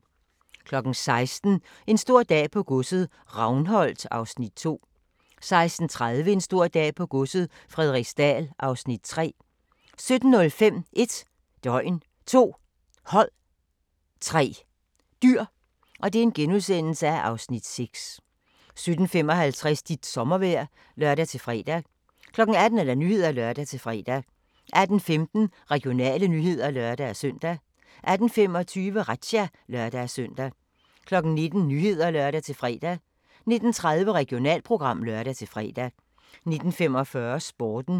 16:00: En stor dag på godset - Ravnholt (Afs. 2) 16:30: En stor dag på godset - Frederiksdal (Afs. 3) 17:05: 1 døgn, 2 hold, 3 dyr (Afs. 6)* 17:55: Dit sommervejr (lør-fre) 18:00: Nyhederne (lør-fre) 18:15: Regionale nyheder (lør-søn) 18:25: Razzia (lør-søn) 19:00: Nyhederne (lør-fre) 19:30: Regionalprogram (lør-fre) 19:45: Sporten